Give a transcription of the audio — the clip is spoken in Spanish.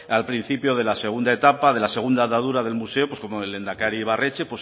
al principio de la segunda etapa de la segunda andadura del museo como el lehendakari ibarretxe